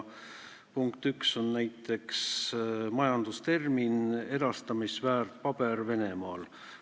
Punkt üks on näiteks majandustermin "erastamisväärtpaber Venemaal".